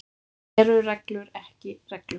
Eru reglur ekki reglur?